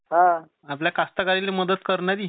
आपल्या मदत करणारी